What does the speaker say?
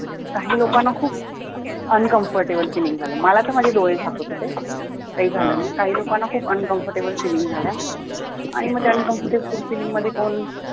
काही लोकांना खूप uncomfortable feel झालं मला तर माझे डोळे झाकत होते काही लोकांना खूप uncomfortable feel झालं मग त्या uncomfortable feeling मध्ये कोण